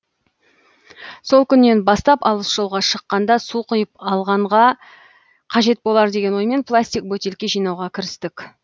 сол күннен бастап алыс жолға шыққанда су құйып алғанға қажет болар деген оймен пластик бөтелке жинауға кірістік